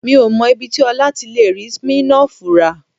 Mi ò mọ ibi tí Ọlá ti lè rí Smirnoff rà